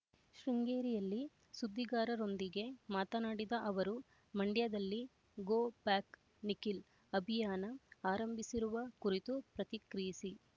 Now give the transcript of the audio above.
ಶೃಂಗೇರಿಯಲ್ಲಿ ಸುದ್ದಿಗಾರರೊಂದಿಗೆ ಮಾತನಾಡಿದ ಅವರು ಮಂಡ್ಯದಲ್ಲಿ ಗೋ ಬ್ಯಾಕ್ ನಿಖಿಲ್ ಅಭಿಯಾನ ಆರಂಭಿಸಿರುವ ಕುರಿತು ಪ್ರತಿಕ್ರಿಯಿಸಿ